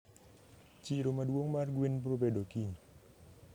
Chiro maduong mar gwen brobedo kiny.